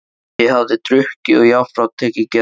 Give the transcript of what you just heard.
Ég hafði drukkið og jafnframt tekið geðlyf.